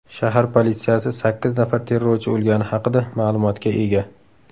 Shahar politsiyasi sakkiz nafar terrorchi o‘lgani haqida ma’lumotga ega.